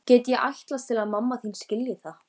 Get ég ætlast til að mamma þín skilji það?